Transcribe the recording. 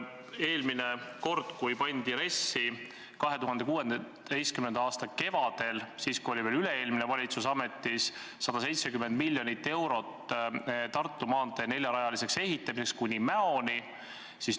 Eelmine kord, kui RES-i kokku pandi – see oli 2016. aasta kevadel, kui oli ametis veel üle-eelmine valitsus –, kavandati 170 miljonit eurot Tartu maantee neljarajaliseks ehitamiseks kuni Mäoni.